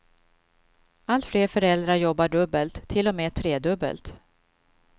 Allt fler föräldrar jobbar dubbelt, till och med tredubbelt.